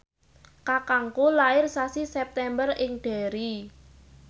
kakangku lair sasi September ing Derry